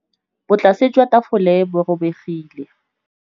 Botlasê jwa tafole bo robegile.